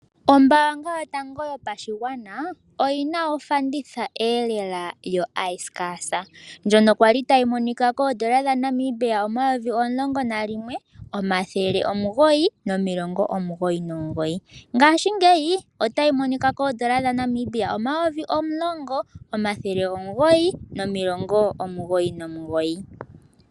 Ombaanga yotango yo pashigwana oyi na ofanditha e lela yo ayisikasa ndjono kwali tayi monika koondola dha Namibia (N$11999.00) ngashingeyi otayi monika koondola dha Namibia (N$10999.00).